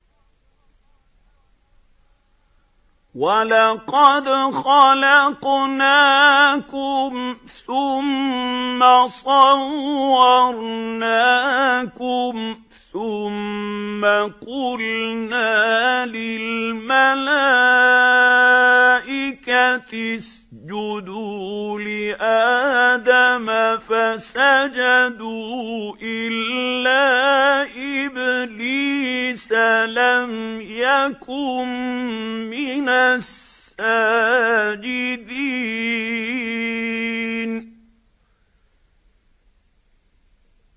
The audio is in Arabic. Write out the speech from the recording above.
وَلَقَدْ خَلَقْنَاكُمْ ثُمَّ صَوَّرْنَاكُمْ ثُمَّ قُلْنَا لِلْمَلَائِكَةِ اسْجُدُوا لِآدَمَ فَسَجَدُوا إِلَّا إِبْلِيسَ لَمْ يَكُن مِّنَ السَّاجِدِينَ